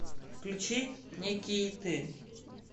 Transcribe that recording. включи некийты